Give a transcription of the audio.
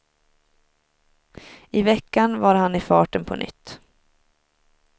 I veckan var han i farten på nytt.